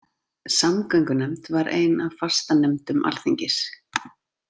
Samgöngunefnd var ein af fastanefndum alþingis.